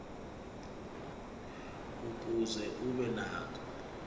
ukuze ube nako